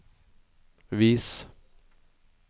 vis